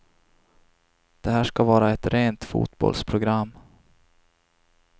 Det här ska vara ett rent fotbollsprogram.